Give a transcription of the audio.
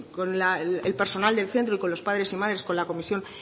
con el personal del centro y con los padres y madres con la comisión